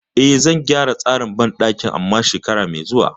E, zan gyara tsarin banɗakin amma shekara mai zuwa.